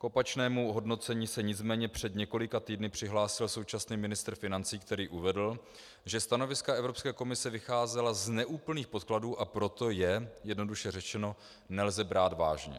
K opačnému hodnocení se nicméně před několika týdny přihlásil současný ministr financí, který uvedl, že stanoviska Evropské komise vycházela z neúplných podkladů, a proto je, jednoduše řečeno, nelze brát vážně.